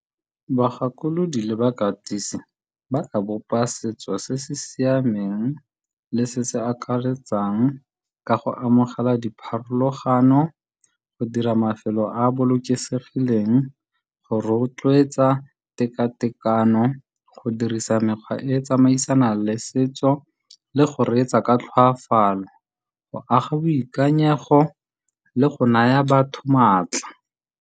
Bagakolodi le bakatisi ba ka bopa setso se se siameng le se se akaretsang go amogela dipharologano, go dira mafelo a bolokesegileng, go rotloetsa tekatekano, go dirisa mekgwa e e tsamaisana le setso le go reetsa ka tlhoafalo go aga boikanyego le go naya batho maatla.